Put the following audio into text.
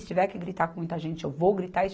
Se tiver que gritar com muita gente, eu vou gritar.